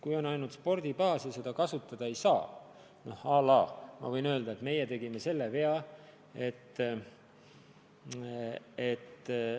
Kui on ainult spordibaas ja seda kasutada ei saa – noh, ma võin öelda, et meie oleme vigu teinud.